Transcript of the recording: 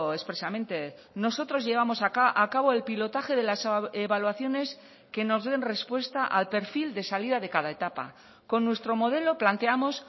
expresamente nosotros llevamos a cabo el pilotaje de las evaluaciones que nos den respuesta al perfil de salida de cada etapa con nuestro modelo planteamos